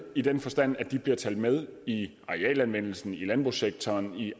i den forstand at de bliver talt med i arealanvendelsen i landbrugssektoren og